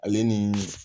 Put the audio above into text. Ale ni